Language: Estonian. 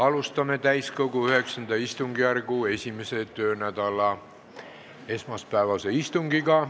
Alustame täiskogu IX istungjärgu esimese töönädala esmaspäevast istungit.